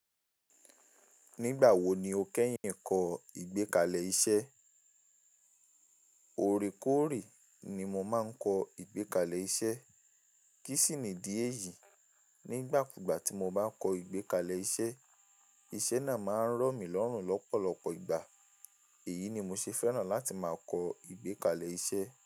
Nígbà wo ni o kẹ́yìn kọ ìgbékalẹ̀ iṣẹ́? Orekoore ni mo máa ń kọ ìgbékalẹ̀ iṣẹ́. Kí sì nidí èyí? Nígbàkúgbà tí mo bá kọ ìgbékalẹ̀ iṣẹ́, iṣẹ́ náà máa ń rọ̀mí lọ́rùn lọ́pọ̀lọpọ̀ ìgbà. Èyí ni mo ṣe fẹ́ràn láti máa kọ ìgbékalẹ̀ iṣẹ́